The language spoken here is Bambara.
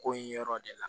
Ko ye yɔrɔ de la